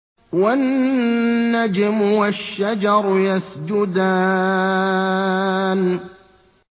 وَالنَّجْمُ وَالشَّجَرُ يَسْجُدَانِ